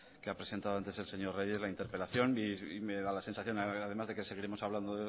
que ha presentado antes el señor reyes en la interpelación y me da la sensación además de que seguiremos hablando